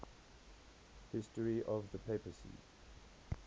history of the papacy